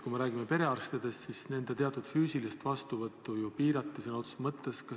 Kui me räägime perearstidest, siis nende teatud füüsilist vastuvõttu ju piirati sõna otseses mõttes.